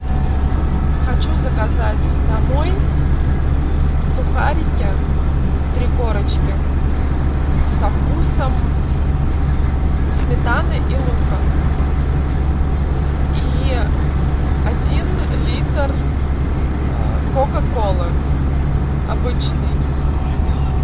хочу заказать домой сухарики три корочки со вкусом сметаны и лука и один литр кока колы обычной